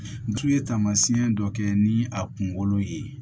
N tun ye taamasiyɛn dɔ kɛ ni a kunkolo ye